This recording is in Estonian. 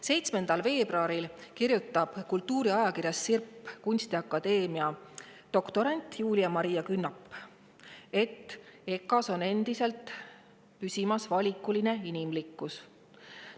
7. veebruaril kirjutas kunstiakadeemia doktorant Julia Maria Künnap kultuuri Sirp, et EKA-s püsib endiselt valikuline inimlikkus.